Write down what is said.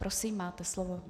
Prosím, máte slovo.